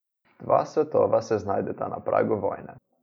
Dva svetova se znajdeta na pragu vojne.